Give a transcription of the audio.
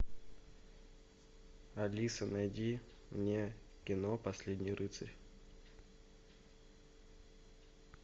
алиса найди мне кино последний рыцарь